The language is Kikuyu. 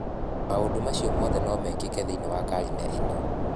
Maũndũ macio mothe no mekĩke thĩinĩ wa karine ĩno".